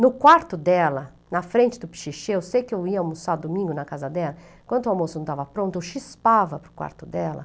No quarto dela, na frente do pichichê, eu sei que eu ia almoçar domingo na casa dela, enquanto o almoço não estava pronto, eu chispava para o quarto dela.